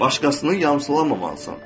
Başqasını yamsılamamalısan.